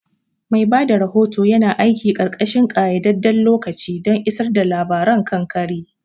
Mai ba da rahoto yana aiki ƙarƙashin ƙayyadadden lokaci don isar da labaran kan kari.